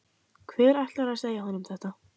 Hver ætlar að segja honum þetta?